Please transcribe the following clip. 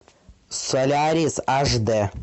солярис аш д